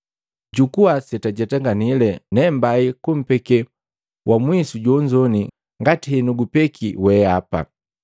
Jukua setujetanganile, ujendaje. Ne mbai kumpeke wamwisu jonzo ngati henukupeki weapa.